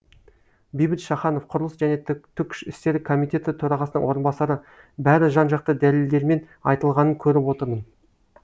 бейбіт шаханов құрылыс және түкш істері комитеті төрағасының орынбасары бәрі жан жақты дәлелдермен айтылғанын көріп отырмын